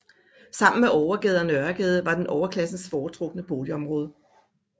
Sammen med Overgade og Nørregade var den overklassens foretrukne boligområde